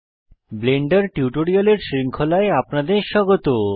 Blender টিউটোরিয়ালের শৃঙ্খলায় আপনাদের স্বাগত